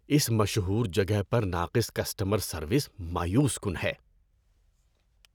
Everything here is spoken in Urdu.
اس مشہور جگہ پر ناقص کسٹمر سروس مایوس کن ہے۔